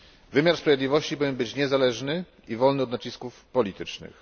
Wymiar sprawiedliwości powinien być niezależny i wolny od nacisków politycznych.